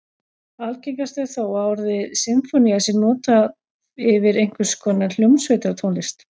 Algengast er þó að orðið sinfónía sé notað yfir einhvers konar hljómsveitartónlist.